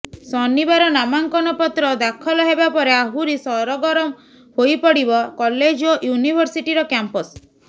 ଶନିବାର ନାମାଙ୍କନ ପତ୍ର ଦାଖଲ ହେବା ପରେ ଆହୁରି ସରଗରମ ହୋଇପଡିବ କଲେଜ ଓ ୟୁନିଭରସିଟିର କ୍ୟାମ୍ପସ୍